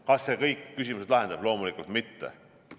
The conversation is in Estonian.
Kas see kõik küsimused lahendab?